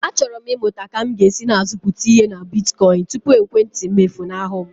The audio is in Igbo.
Achọrọ m ịmụta ka m ga-esi na-azụpụta ihe na bitkoịn tupu ekwentị m efunahụ m.